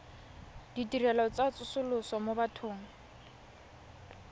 ditirelo tsa tsosoloso mo bathong